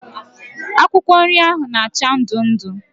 Akwụkwọ nri ahụ bụ na acha ndụ ndụ